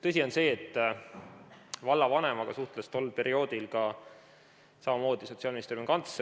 Tõsi on see, et vallavanemaga suhtles tol perioodil samamoodi Sotsiaalministeeriumi kantsler.